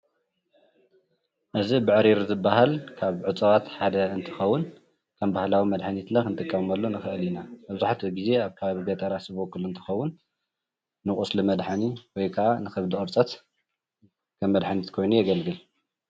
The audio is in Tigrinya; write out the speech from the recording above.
እዚ ብዕሪር ዝበሃል ኻብ እፅዋት ሓደ እንትኸውን ከም ባህላዊ መድሓኒት እውን ንጥቀመሉ ንኽእል ኢና። መብዛሕተኡ ግዘ ኣብ ከባቢ ገጠራት ዝበቅል እንትኸውን ንቁስሊ መድሓኒ ወይ ካዓ ንከብዲ ቁርፀት ከም ምድሓኒት ኮይኑ የገልግል ።